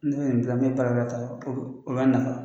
N'o ye nin o b'a nafa